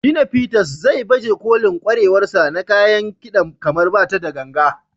Shina Peters, zai baje kolin ƙwarewarsa na kayan kida kamar bata da ganga.